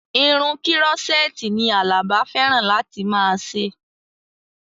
Irun kírọ́sẹ́ẹ̀tì ni Àlàbá fẹ́ràn láti máa ṣe